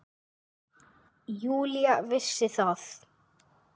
Júlía vissi það.